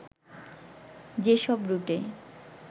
যেসব রুটে